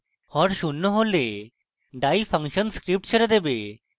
হর শূন্য হলে die function script ছেড়ে দেবে